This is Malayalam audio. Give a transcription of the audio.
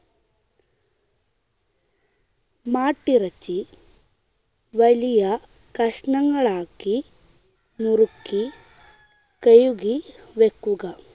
മാട്ടിറച്ചി വലിയ കഷ്ണണങ്ങളാക്കി നുറുക്കി കഴുകി വെക്കുക.